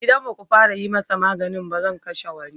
Idan ba ku fara yi masa magani ba, zan kashe wani.